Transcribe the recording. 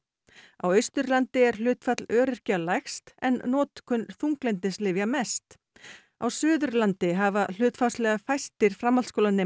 á Austurlandi er hlutfall öryrkja lægst en notkun þunglyndislyfja mest á Suðurlandi hafa hlutfallslega fæstir framhaldsskólanemar